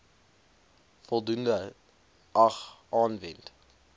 voldoende ag aanwend